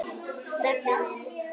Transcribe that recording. Stebbi minn.